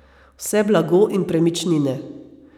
Vse blago in premičnine.